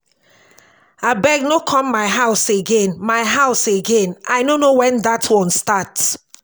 abeg no come my house again my house again i ni no wen that one start